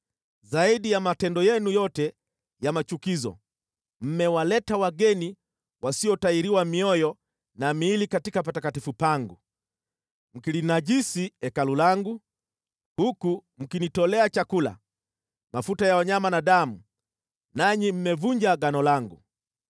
Zaidi ya matendo yenu yote ya machukizo, mmewaleta wageni wasiotahiriwa mioyo na miili katika patakatifu pangu, mkilinajisi Hekalu langu, huku mkinitolea chakula, mafuta ya wanyama na damu, nanyi mmevunja Agano langu.